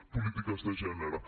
polítiques de gènere